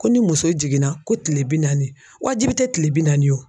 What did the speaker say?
Ko ni muso jiginna ko kile bi naani wajibi tɛ kile bi naani ye wo.